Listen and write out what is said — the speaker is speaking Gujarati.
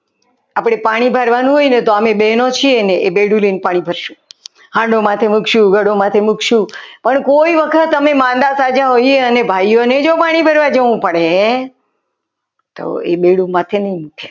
આપણે પાણી ભરવાનું હોય ને તો અમે બહેનો છીએ ને એ બેડુંલઈને પાણી ભરશું હાંડો માથે મૂકશું ઘડો માથે મૂકશું ઘડો માથે મૂકશું અને કોઈ વખત અમે માંદા સાચા હોય છે અને ભાઈઓને પાણી ભરવા જવું પડે તો એ બેડું માથે નહીં મૂકે.